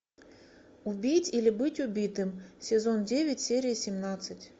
убить или быть убитым сезон девять серия семнадцать